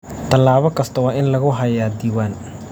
Tallaabo kasta waa in lagu hayaa diiwaan.